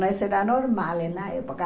Isso era normal na época.